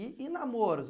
E e namoros?